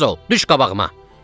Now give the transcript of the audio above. Tez ol, düş qabağıma!"